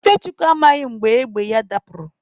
Ifechukwu amaghị mgbe égbè ya dapụrụ.